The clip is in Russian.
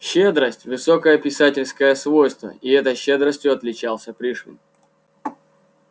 щедрость высокое писательское свойство и этой щедростью отличался пришвин